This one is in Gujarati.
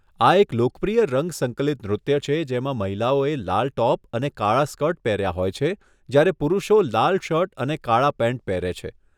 આ એક લોકપ્રિય રંગ સંકલિત નૃત્ય છે જેમાં મહિલાઓએ લાલ ટોપ અને કાળા સ્કર્ટ પહેર્યા હોય છે, જ્યારે પુરુષો લાલ શર્ટ અને કાળા પેન્ટ પહેરે છે.